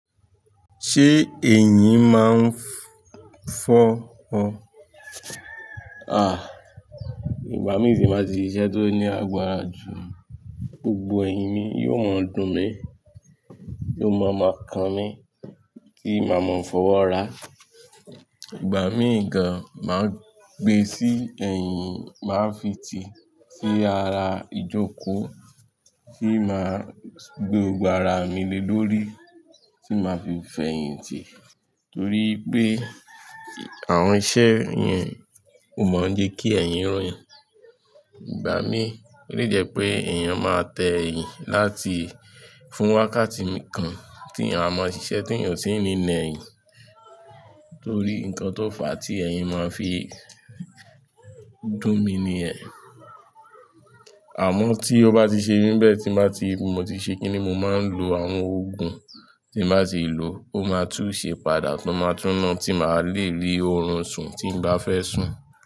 Ṣé ẹ̀yin máa ń fọ́ ọ? Àh! Ìgbà mí ti n báa ti ṣise tọ́ ní àgbàrá ju, gbogbo ẹ̀yìn mi yóò máa dùn mí, yóò máa maa kàn mí tí má máa fọ́wọ́ ra. Ìgbà mí gan máa gbé sí ẹ̀yìn, màá fi tì sí ara ìjókòó kí máa gbé gbogbo ara mi lé lórí tí màá fi fẹ́ ẹ̀yìn tì torí pé àwọn iṣẹ́ yẹn o mọ̀ jẹ́ kí ẹ̀yìn rìn. Ìgbà mí ó lè jẹ́ pé èèyàn máa tẹ ẹ̀yìn láti fún wákàtí kan tí eyan a máa ṣiṣẹ́ tí èèyàn kò sí ní a eyin orí nǹkan tó fà á tí ẹ̀yìn máa fi dùn mi nìyẹn. Àmọ́ tí ó bá ti ṣe bẹ́ẹ̀ tí màá ti, mo ti ṣe kíni mo máa ń lo àwọn òògùn tí màá ti lò, ó máa tú ṣẹ pàdà tí ó máa túná tí màá le rí oorun sùn tí n bá fẹ́ sùn.